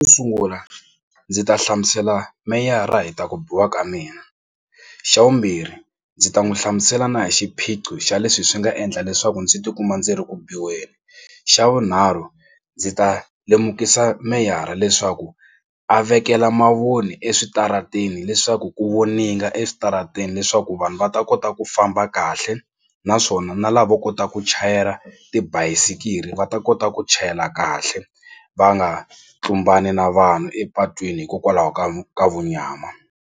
Xo sungula ndzi ta hlamusela meyara hi ta ku biha ka mina xa vumbirhi ndzi ta n'wi hlamusela na hi xiphiqo xa leswi swi nga endla leswaku ndzi tikuma ndzi ri ku biweni. Xa vunharhu ndzi ta lemukisa meyara leswaku a vekela mavoni eswitarateni leswaku ku voninga eswitarateni leswaku vanhu va ta kota ku famba kahle naswona na lava kotaka ku chayela tibayisiri va ta kota ku chayela kahle va nga tlumbani na vanhu epatwini hikokwalaho ka ka munyama.